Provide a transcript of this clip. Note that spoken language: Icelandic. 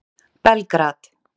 Belgrad